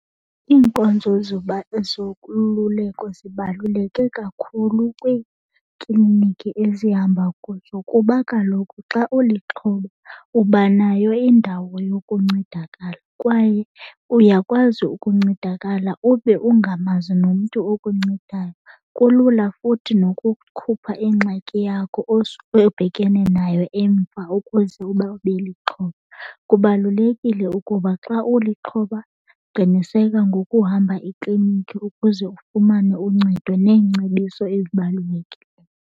Iinkonzo zokululeko zibaluleke kakhulu kwiikliniki ezihamba kuzo kuba kaloku xa ulixhoba uba nayo indawo yokuncedakala kwaye uyakwazi ukuncedakala ube ungamazi nomntu okuncedayo. Kulula futhi nokukhupha ingxaki yakho obhekene nayo emva ukuze uba ube lixhoba. Kubalulekile ukuba xa ulixhoba qiniseka ngokuhamba ikliniki ukuze ufumane uncedo neengcebiso ezibalulekileyo.